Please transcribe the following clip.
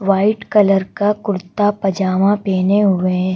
white colour का कुर्ता पजामा पहने हुए--